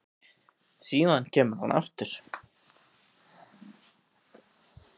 Síðan kemur hann aftur